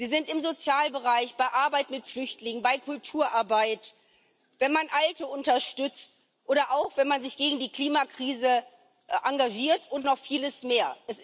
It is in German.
Es gibt sie im Sozialbereich, bei Arbeit mit Flüchtlingen, bei Kulturarbeit, wenn man Alte unterstützt oder auch wenn man sich gegen die Klimakrise engagiert und noch viele mehr.